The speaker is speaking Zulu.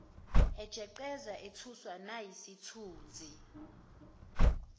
ejeqeza ethuswa nayisithunzi